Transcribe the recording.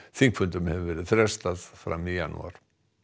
þingfundum hefur verið frestað fram í janúar